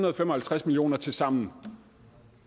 og fem og halvtreds million kroner tilsammen